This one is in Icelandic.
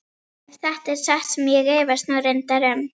Ef þetta er satt sem ég efast nú reyndar um.